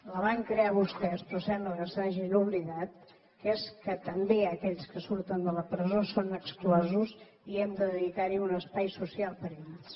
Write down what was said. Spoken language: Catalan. la van crear vostès però sembla que se n’hagin oblidat que és que també aquells que surten de la presó són exclosos i hem de dedicar un espai social per a ells